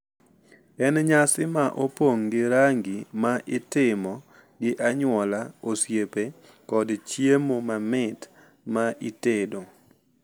En nyasi ma opong’ gi rangi ma itimo gi anyuola, osiepe, kod chiemo mamit ma itedo.